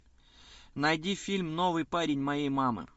найди фильм новый парень моей мамы